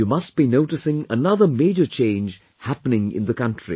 You must be noticing another major change happening in the country